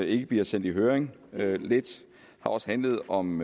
ikke bliver sendt i høring og lidt af også handlet om